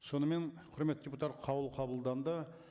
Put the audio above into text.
сонымен құрметті қаулы қабылданды